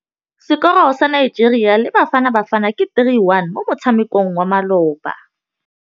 Sekôrô sa Nigeria le Bafanabafana ke 3-1 mo motshamekong wa malôba.